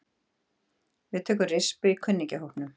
Við tökum rispu í kunningjahópnum.